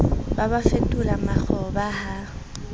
ba ba fetole makgoba ha